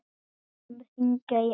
Við skulum hringja í Alla.